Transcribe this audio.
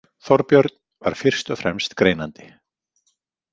Þorbjörn var fyrst og fremst greinandi.